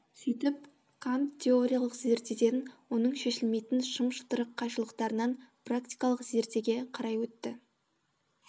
сөйтіп кант теориялық зердеден оның шешілмейтін шым шытырық қайшылықтарынан практикалық зердеге қарай өтті